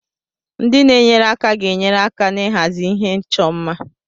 Ndị na-enyere aka ga-enyere aka n'ịhazi ihe ịchọ mma.